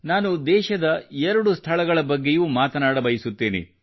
ನಾನು ದೇಶದ 2 ಸ್ಥಳಗಳ ಬಗ್ಗೆಯೂ ಮಾತನಾಡಬಯಸುತ್ತೇನೆ